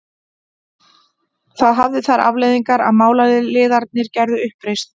Það hafði þær afleiðingar að málaliðarnir gerðu uppreisn.